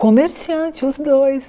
Comerciante, os dois.